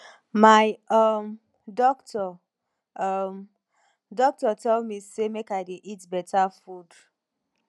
my um doctor um doctor tell me say make i dey eat beta food